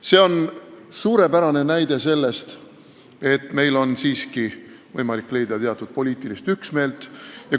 See on suurepärane näide sellest, et meil on siiski võimalik leida teatud poliitilist üksmeelt.